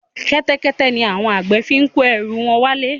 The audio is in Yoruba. Kẹ́tẹ́kẹ́tẹ́ ni àwọn àgbẹ̀ fi ń kó ẹrù wọn wá ilé